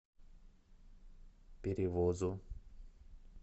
перевозу